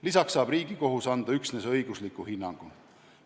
Lisaks saab Riigikohus anda üksnes õigusliku hinnangu.